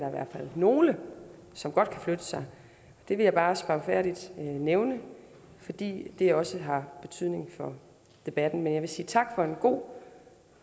nogle som godt kan flytte sig det vil jeg bare spagfærdigt nævne fordi det også har betydning for debatten men jeg vil sige tak for en god